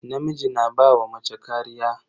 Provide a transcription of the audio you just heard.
Namiji na ba wa mace kariya.